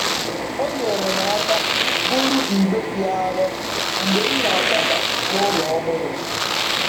O nyeere m aka buru igbe dị arọ mgbe m na-akwaba n'ụlọ ọhụrụ m.